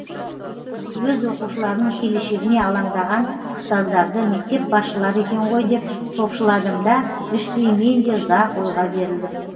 өз оқушыларының келешегіне алаңдаған ұстаздарды мектеп басшылары екен ғой деп топшыладым да іштей мен де ұзақ ойға берілдім